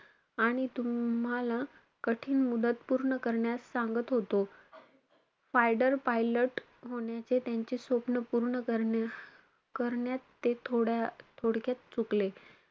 आणि तुम्हाला कठीण मुदत पूर्ण करण्यास सांगत होतो. fighter pilot होण्याचे त्यांचे स्वप्न पूर्ण करण्य~ करण्यात ते थोडा थोडक्यात चुकले.